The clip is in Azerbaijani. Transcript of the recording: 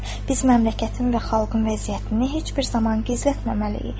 Biz məmləkətin və xalqın vəziyyətini heç bir zaman gizlətməməliyik.